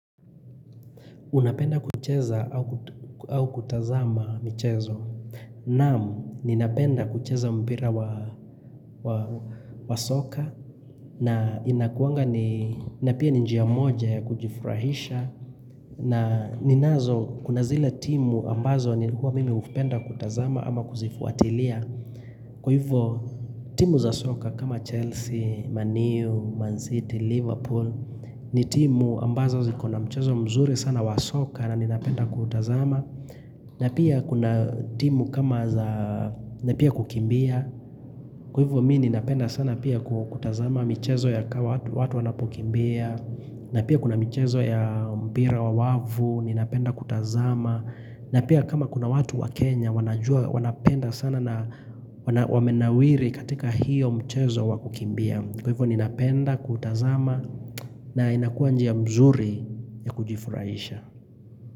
Unapenda kucheza au kutazama mchezo. Naam, ninapenda kucheza mpira wa soka. Na inakuanga ni, napia ninjia moja ya kujifurahisha. Na ninazo, kuna zile timu ambazo ni huwa mimi upenda kutazama ama kuzifuatilia. Kwa hivo, timu za soka kama Chelsea, Man u, Man City, Liverpool. Ni timu ambazo zikona mchezo mzuri sana wasoka na ninapenda kuutazama na pia kuna timu kama za, napia kukimbia Kwa hivo mi ninapenda sana pia kutazama michezo ya kawa watu wanapokimbia na pia kuna michezo ya mpira wa wavu, ninapenda kutazama na pia kama kuna watu wa Kenya wanapenda sana na wamenawiri katika hiyo mchezo wa kukimbia Kwa hivo ni napenda kutazama na inakuwa njia mzuri ya kujifuraisha.